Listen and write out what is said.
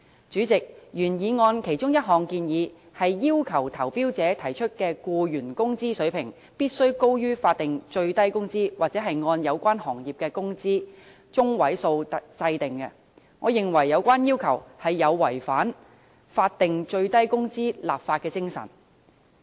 主席，原議案其中一項建議是要求投標者提出的僱員工資水平，必須高於法定最低工資或按有關行業的工資中位數訂定，我認為有關要求有違法定最低工資的立法精神。